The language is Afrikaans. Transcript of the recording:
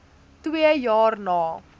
twee jaar na